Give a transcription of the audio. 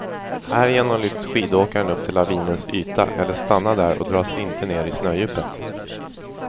Härigenom lyfts skidåkaren upp till lavinens yta eller stannar där och dras inte ned i snödjupet.